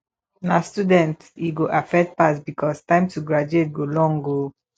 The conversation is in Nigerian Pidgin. na students e go affect pass because time to take graduate go long o